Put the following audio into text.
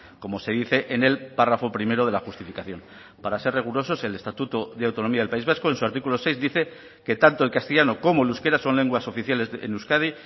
como se dice en el párrafo primero de la justificación para ser rigurosos el estatuto de autonomía del país vasco en su artículo seis dice que tanto el castellano como el euskera son lenguas oficiales en euskadi